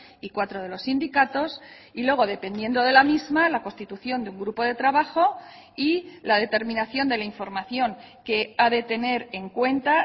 y cuatro de los sindicatos y luego dependiendo de la misma la constitución de un grupo de trabajo y la determinación de la información que ha de tener en cuenta